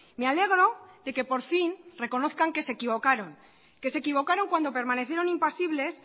me alegro de que por fin reconozcan que se equivocaron que se equivocaron cuando permanecieron impasibles